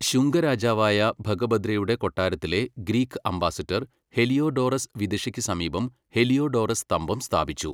ശുംഗ രാജാവായ ഭഗഭദ്രയുടെ കൊട്ടാരത്തിലെ ഗ്രീക്ക് അംബാസഡർ ഹെലിയോഡോറസ് വിദിഷയ്ക്ക് സമീപം ഹെലിയോഡോറസ് സ്തംഭം സ്ഥാപിച്ചു.